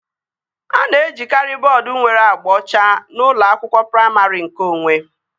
A na-ejikari bọọdu nwere agba ọcha n'ụlọ akwụkwọ praimarị nkeonwe